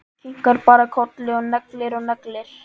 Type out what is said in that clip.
Kinkar bara kolli og neglir og neglir.